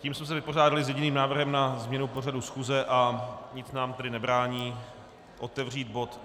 Tím jsme se vypořádali s jediným návrhem na změnu pořadu schůze a nic nám tedy nebrání otevřít bod